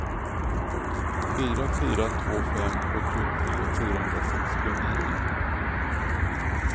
fyra fyra två fem sjuttiotre fyrahundrasextionio